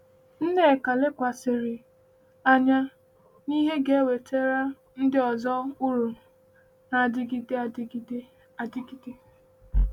Nneka lekwasịrị anya n’ihe ga-ewetara ndị ọzọ uru na-adịgide adịgide. adịgide.